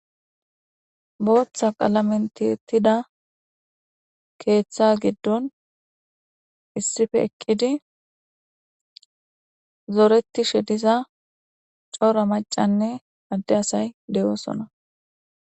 Booththa qalamen tiyettida keeththa giddon issipe eqqidi zoretishe diza cora maccaynne adee asay de'osona.